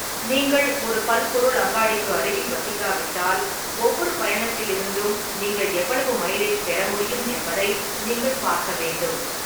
நீங்கள் ஒரு பல்பொருள் அங்காடிக்கு அருகில் வசிக்காவிட்டால், ஒவ்வொரு பயணத்திலிருந்தும் நீங்கள் எவ்வளவு மைலேஜ் பெற முடியும் என்பதை நீங்கள் பார்க்க வேண்டும்.